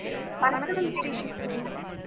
வணக்கம் ஸ்ரீசக்தி